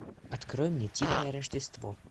открой мне тихое рождество